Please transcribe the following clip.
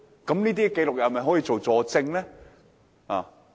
有關紀錄可否作為佐證呢？